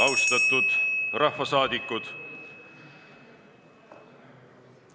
Austatud rahvasaadikud!